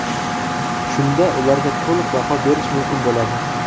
Shunda ularga to‘liq baho berish mumkin bo‘ladi.